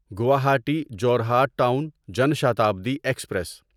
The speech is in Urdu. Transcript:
Guwahati Jorhat town Jan Shatabdi express